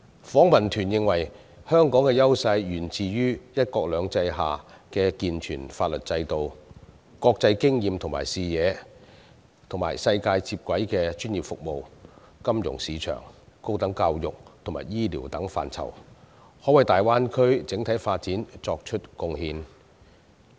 訪問團認為，香港的優勢源於"一國兩制"下的健全法律制度、國際經驗和視野，以及可在與世界接軌的專業服務、金融市場、高等教育和醫療等範疇內，為大灣區整體發展作出貢獻。